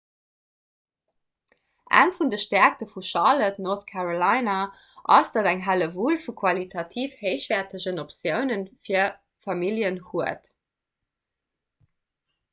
eng vun de stäerkte vun charlotte north carolina ass datt et eng hellewull vu qualitativ héichwäertegen optioune vir familljen huet